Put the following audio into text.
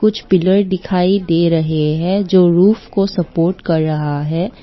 Pillar दिखाई दे रहे हैं जो रूफ को सपोर्ट कर रहा है।